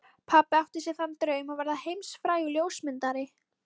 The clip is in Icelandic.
Pabbi átti sér þann draum að verða heimsfrægur ljósmyndari.